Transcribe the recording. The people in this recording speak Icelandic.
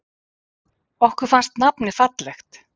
Okkur fannst nafnið fallegt.